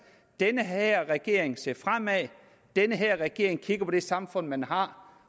at den her regering ser fremad den her regering kigger på det samfund man har